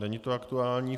Není to aktuální.